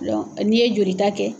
Dɔnku n'i ye joli ta kɛ